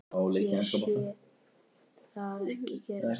Ég sé það ekki gerast.